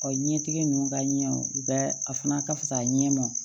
Ɔ ɲɛtigi ninnu ka ɲɛ u bɛ a fana ka fisa a ɲɛ ma